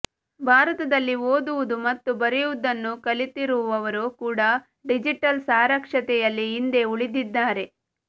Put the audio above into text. ಭಾರತದಲ್ಲಿ ಓದುವುದು ಮತ್ತು ಬರೆಯುವುದನ್ನು ಕಲಿತಿರುವವರು ಕೂಡ ಡಿಜಿಟಲ್ ಸಾಕ್ಷರತೆಯಲ್ಲಿ ಹಿಂದೆ ಉಳಿದಿದ್ದಾರೆ